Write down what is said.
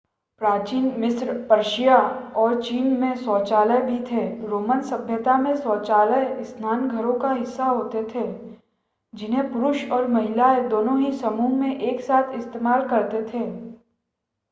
प्राचीन मिस्र पर्शिया और चीन में शौचालय भी थे रोमन सभ्यता में शौचालय स्नान घरों का हिस्सा होते थे जिन्हें पुरुष और महिलाएं दोनों ही समूह में एक साथ इस्तेमाल करते थे